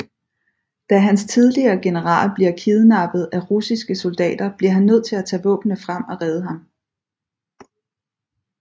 Da hans tidligere general bliver kidnappet af russiske soldater bliver han nødt til at tage våbnene frem og redde ham